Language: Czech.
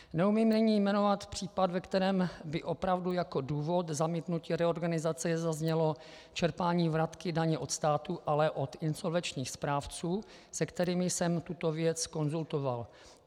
Neumím nyní jmenovat případ, ve kterém by opravdu jako důvod zamítnutí reorganizace zaznělo čerpání vratky daně od státu, ale od insolvenčních správců, se kterými jsem tuto věc konzultoval.